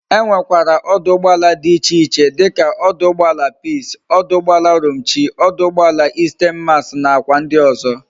E nwe kwara ọdụ̀ụgbọàlà di iche iche dika ọdụ̀ụgbọàlà peace, ọdụ̀ụgbọàlà Romchi, ọdụ̀ụgbọàlà 'Isten mas' na kwa ndi ozo